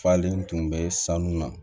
Falen tun bɛ sanu na